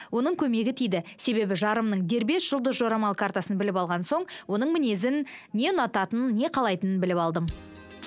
оның көмегі тиді себебі жарымның дербес жұлдыз жорамал картасын біліп алған соң оның мінезін не ұнататынын не қалайтынын біліп алдым